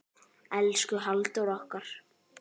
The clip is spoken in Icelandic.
Elsku Halldór okkar.